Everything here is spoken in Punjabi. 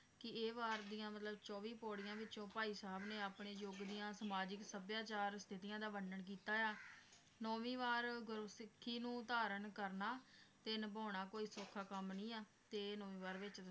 ਕਿ ਇਹ ਵਾਰ ਦੀਆਂ ਮਤਲਬ ਚੌਵੀ ਪੌੜੀਆਂ ਵਿਚੋਂ ਭਾਈ ਸਾਹਿਬ ਨੇ ਆਪਣੇ ਯੁਗ ਦੀਆਂ ਸਮਾਜਿਕ ਸਭਿਆਚਾਰ ਸਥਿਤੀਆਂ ਦਾ ਵਰਨਣ ਕੀਤਾ ਆ ਨੌਵੀਂ ਵਾਰ ਗੁਰੂ ਸਿੱਖੀ ਨੂੰ ਧਾਰਨ ਕਰਨਾ ਤੇ ਨਿਭਾਉਣਾ ਕੋਈ ਸੌਖਾ ਕੰਮ ਨੀ ਆ ਤੇ ਨੌਵੀਂ ਵਾਰ ਵਿਚ